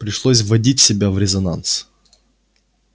пришлось вводить себя в резонанс